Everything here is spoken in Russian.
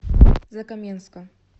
закаменска